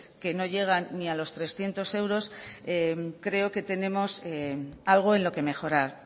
que no llegan ni a los trescientos euros creo que tenemos algo en lo que mejorar